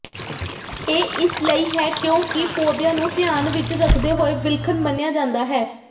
ਇਹ ਇਸ ਲਈ ਹੈ ਕਿਉਂਕਿ ਪੌਦਿਆਂ ਨੂੰ ਧਿਆਨ ਵਿਚ ਰੱਖਦੇ ਹੋਏ ਵਿਲੱਖਣ ਮੰਨਿਆ ਜਾਂਦਾ ਹੈ